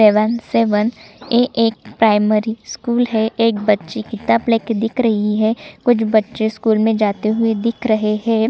Seven seven A एक primary school है एक बच्ची किताब ले के दिख रही है कुछ बच्चे स्कूल में जाते हुए दिख रहै है।